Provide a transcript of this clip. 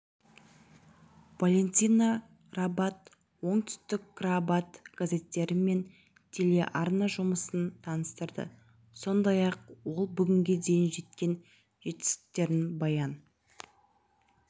валентина рабат оңтүстікрабат газеттері мен телеарна жұмысын таныстырды сондай-ақ ол бүгінге дейін жеткен жетістіктерін баян